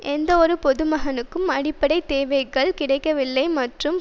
எந்தவொரு பொதுமகனுக்கும் அடிப்படை தேவைகள் கிடைக்கவில்லை மற்றும்